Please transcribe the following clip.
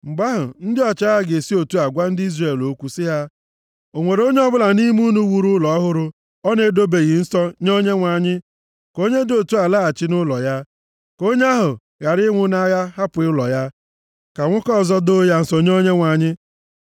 Mgbe ahụ, ndị ọchịagha ga-esi otu a gwa ndị agha Izrel okwu sị ha, “O nwere onye ọbụla nʼime unu wuru ụlọ ọhụrụ ọ na-edobeghị nsọ nye Onyenwe anyị? Ka onye dị otu a laghachi nʼụlọ ya. Ka onye ahụ ghara ịnwụ nʼagha hapụ ụlọ ya, ka nwoke ọzọ doo ya nsọ nye Onyenwe anyị!